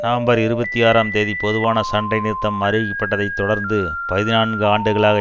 November இருபத்தி ஆறாம் தேதி பொதுவான சண்டை நிறுத்தம் அறிவிக்கப்பட்டதைத் தொடர்ந்து பதினான்குஆண்டுகளாக